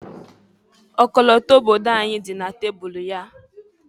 Ọkọlọtọ obodo anyị dị na tabulu ya.